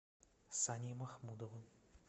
саней махмудовым